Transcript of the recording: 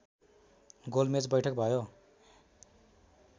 गोलमेच वैठक भयो